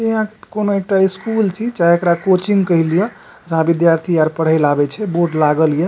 इहा कोनो एकटा स्कूल छी चाहे एकरा कोचिंग कह लियो जहां विद्यार्थी आर पढ़े ले आवे छै बोर्ड लागल या।